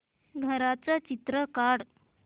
घराचं चित्र काढ